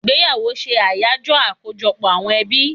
Igbeyawo se Ayajo akojọpọ àwọn ebi